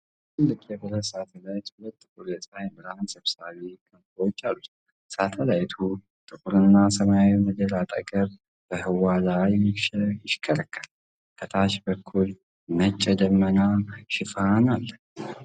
ትልቅ የብረት ሳተላይት ሁለት ጥቁር የፀሐይ ብርሃን ሰብሳቢ ክንፎች አሉት። ሳተላይቱ ጥቁርና ሰማያዊው ምድር አጠገብ በህዋ ላይ ይሽከረከራል። ከታች በኩል ነጭ የደመና ሽፋን አለ።